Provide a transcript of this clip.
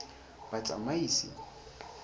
batsamaisi